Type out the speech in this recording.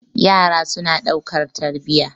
yara suna daukar tarbiya